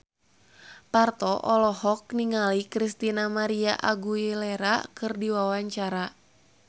Parto olohok ningali Christina María Aguilera keur diwawancara